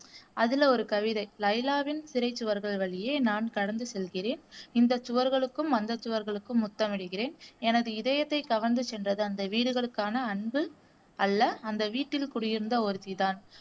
அதுல ஒரு கவிதை லைலாவின் சிறைச்சுவர்கள் வழியே நான் கடந்து செல்கிறேன் இந்த சுவர்களுக்கும் அந்த சுவர்களுக்கும் முத்தமிடுகிறேன் எனது இதயத்தை கவர்ந்து சென்றது அந்த வீடுகளுக்கான அன்பு அல்ல அந்த வீட்டில் குடியிருந்த ஒருத்திதான்